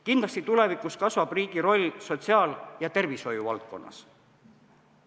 Kindlasti kasvab tulevikus riigi roll sotsiaal- ja tervishoiuvaldkonnas.